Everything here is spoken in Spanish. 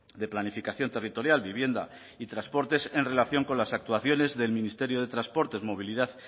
de planificación territorial vivienda y transportes en relación con las actuaciones del ministerio de transportes movilidad